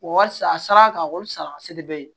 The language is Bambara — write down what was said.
Walisa a sara ka wali san a seri bɛ ye